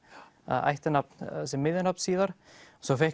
ættarnafn sem miðjunafn síðar svo fékk